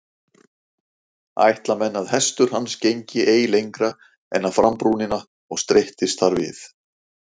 Ætla menn að hestur hans gengi ei lengra en á frambrúnina og streittist þar við.